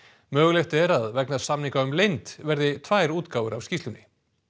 mögulegt er að vegna samninga um leynd verði tvær útgáfur af skýrslunni